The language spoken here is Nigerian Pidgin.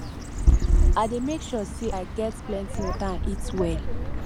i dey make sure say i get plenty water and eat well